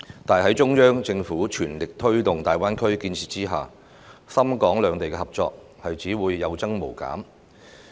但是，在中央政府全力推動大灣區建設下，港深兩地的合作只會有增無減。